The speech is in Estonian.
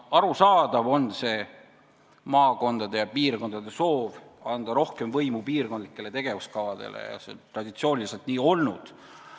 Arusaadav on maakondade ja piirkondade soov anda rohkem võimu piirkondlikele tegevuskavadele, see on traditsiooniliselt nii olnud.